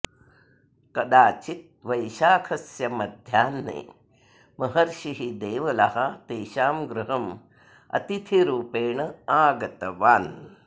कदाचित् वैशाखस्य मध्याह्ने महर्षिः देवलः तेषां गृहम् अतिथिरूपेण आगतवान्